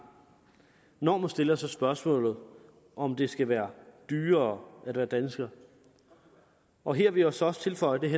når man stiller sig spørgsmålet om det skal være dyrere at være dansker og her vil jeg så også tilføje at